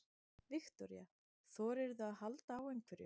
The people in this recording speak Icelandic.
Viktoría: Þorðirðu að halda á einhverjum?